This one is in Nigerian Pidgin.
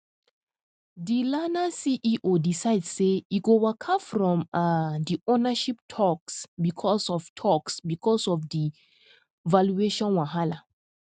di learner ceo decide say e go waka from um di ownership talks because of talks because of di valuation wahala